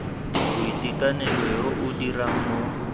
boitekanelo yo o dirang mo